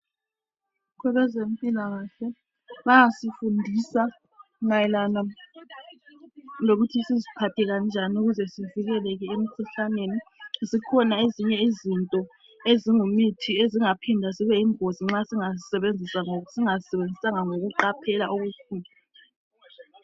Abezempilakahle bayasifundisa mayelana lokuthi siziphathe kanjani ukuze sivikelele emkhuhlaneni zikhona ezinye izinto eziyimithi ezingaphinda zibe yingozi ma singazisebenzisanga ngokuqaphela okukhulu.